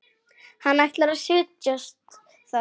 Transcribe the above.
Ætlar að set jast þar.